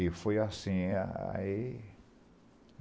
E foi assim. É aí